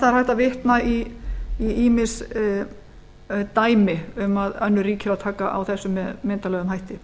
það er hægt að vitna í ýmis dæmi um að önnur ríki eigi að taka á þessu með myndarlegum hætti